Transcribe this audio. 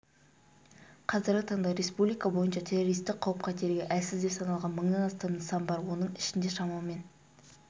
қазіргі таңда республика бойынша террористік қауіп-қатерге әлсіз деп саналған мыңнан астам нысан бар оның ішінде шамамен